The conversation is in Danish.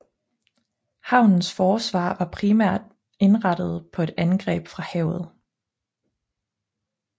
Havnens forsvar var primært indrettet på et angreb fra havet